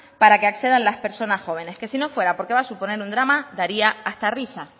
para que accedan las personas jóvenes que si no fuera porque va a suponer un drama daría hasta risa